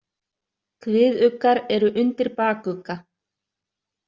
Kviðuggar eru undir bakugga.